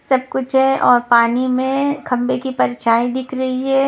सब कुछ है और पानी में खंभे की परछाई दिख रही है।